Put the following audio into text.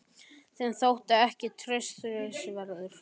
Þeim þótti ég ekki traustsins verður.